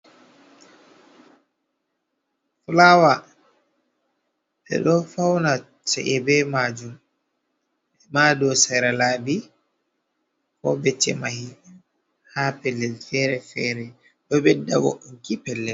fulaawa, ɓe ɗo fawna ci`e be maajum, maa dow sera laabi, ko becce may, haa pellel feere- feere, ɗo ɓedda wo`inki pelle.